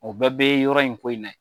O bɛɛ bɛ yɔrɔ in ko in na ye.